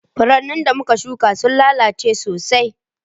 Furannin da muka shuƙa sun lalace sosai.